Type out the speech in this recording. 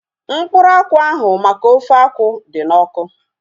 Mkpụrụ akwụ ahu maka ofe akwụ dị n'ọkụ